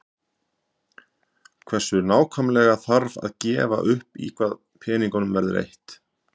Hversu nákvæmlega þarf að gefa upp í hvað peningunum verður eytt?